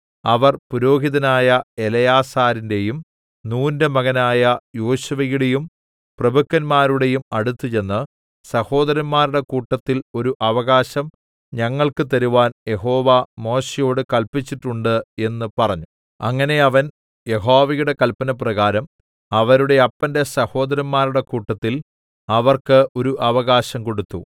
അവർ പുരോഹിതനായ എലെയാസരിന്റെയും നൂന്റെ മകനായ യോശുവയുടെയും പ്രഭുക്കന്മാരുടെയും അടുത്ത് ചെന്ന് സഹോദരന്മാരുടെ കൂട്ടത്തിൽ ഒരു അവകാശം ഞങ്ങൾക്ക് തരുവാൻ യഹോവ മോശെയോട് കല്പിച്ചിട്ടുണ്ട് എന്ന് പറഞ്ഞു അങ്ങനെ അവൻ യഹോവയുടെ കല്പനപ്രകാരം അവരുടെ അപ്പന്റെ സഹോദരന്മാരുടെ കൂട്ടത്തിൽ അവർക്ക് ഒരു അവകാശം കൊടുത്തു